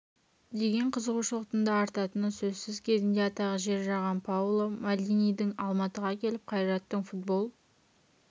деген қызуғышылықтың да артатыны сөзсіз кезінде атағы жер жарған паоло мальдинидің алматыға келіп қайраттың футбол